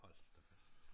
Hold da fast